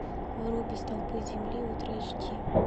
вруби столпы земли ультра эйч ди